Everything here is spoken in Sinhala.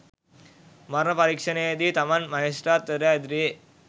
මරණ පරීක්ෂණයේදී තමන් මහේස්ත්‍රාත්වරයා ඉදිරියේ